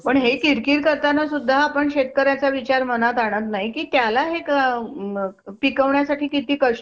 पण दीदीला सवय झाली असेल, तर काय नसेल ना आता.